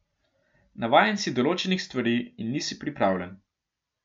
Navajen si določenih stvari in nisi pripravljen.